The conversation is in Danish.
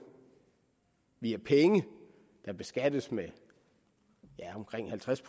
via penge der beskattes med omkring halvtreds